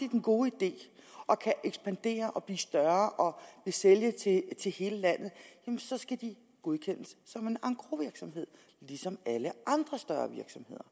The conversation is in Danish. den gode idé og kan ekspandere og blive større og sælge til til hele landet så skal de godkendes som en engrosvirksomhed ligesom alle andre større virksomheder